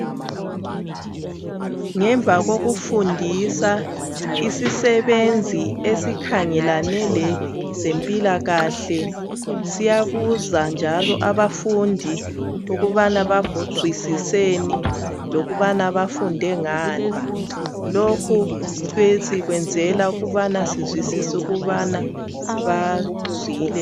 Ngemva kokufundisa isisebenzi esikhangelane lezempilakahle siyabuza njalo abafundi ukubana bazwisiseni lokuthi bafunde ngani , Lokhu sikwenzela ukuthi sibone ukuthi abafundi bazwisisile .